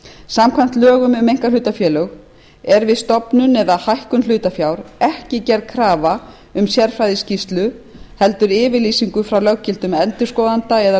samkvæmt lögum um einkahlutafélög er við stofnun eða hækkun hlutafjár ekki gerð krafa um sérfræðiskýrslu heldur yfirlýsingu frá löggiltum endurskoðanda eða